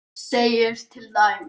segir til dæmis